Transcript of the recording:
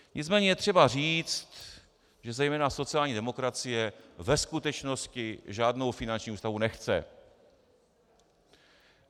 Nicméně je třeba říci, že zejména sociální demokracie ve skutečnosti žádnou finanční ústavu nechce.